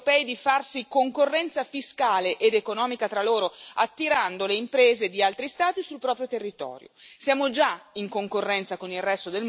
Soprattutto, però, si deve impedire ai paesi europei di farsi concorrenza fiscale ed economica tra loro, attirando le imprese di altri Stati sul proprio territorio.